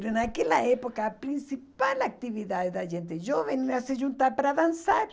Mas naquela época a principal atividade da gente jovem era se juntar para dançar.